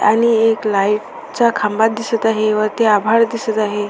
आणि एक लाइट चा खांबा दिसत आहे वरती आभाळ दिसत आहे.